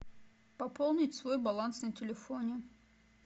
пополнить свой баланс на телефоне